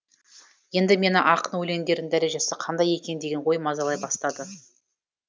енді мені ақын өлеңдерінің дәрежесі қандай екен деген ой мазалай бастады